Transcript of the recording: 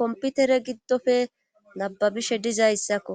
komputere giddofe nababishe dizayssakko